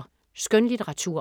Skønlitteratur